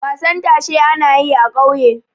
wasan tashe ana yi a ƙauye